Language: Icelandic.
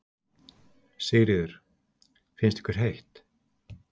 Sigríður: Finnst ykkur heitt?